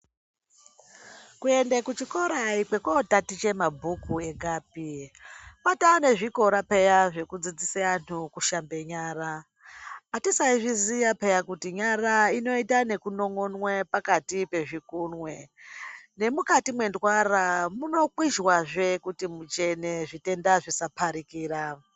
Kuende kuchikora ayikwekundotaticha mabhuku egapi. Kwatoa nezvikora peya zvekudzidzise antu kushambe nyara. Atisaizviziya peya kuti nyara inoitwe nekunon'onwe pakati pezvigunwe. Nemukati mentwara munokwizhwazve kuti muchene, zvitenda zvisaparikira.